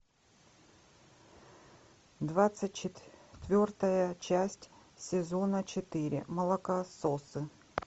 двадцать четвертая часть сезона четыре молокососы